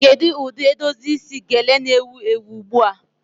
Kedu ụdị edozi isi gele na-ewu ewu ugbu a?